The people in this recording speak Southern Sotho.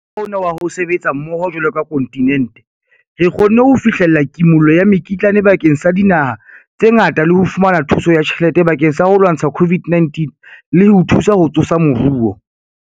Ka mokgwa ona wa ho sebetsa mmoho jwalo ka kontinente, re kgonne ho fihlella kimollo ya mekitlane bakeng sa dinaha tse ngata le ho fumana thuso ya tjhelete bakeng sa ho lwantsha COVID-19 le ho thusa ho tsosa moruo.